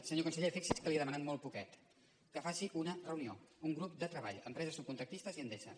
senyor conse·ller fixi’s que li he demanat molt poquet que faci una reunió un grup de treball empreses subcontractistes i endesa